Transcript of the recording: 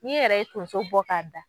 N'i yɛrɛ ye tonso bɔ k'a da